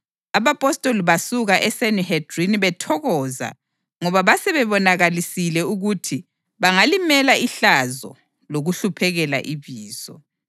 Abapostoli basuka eSanihedrini bethokoza ngoba basebebonakalisile ukuthi bangalimela ihlazo lokulihluphekela iBizo.